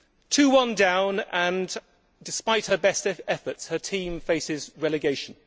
Two one down and, despite her best efforts, her team faces relegation